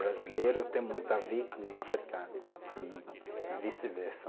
brasileiro tem muito a ver com o africano e vice-versa.